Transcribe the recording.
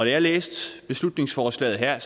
jeg læste beslutningsforslaget her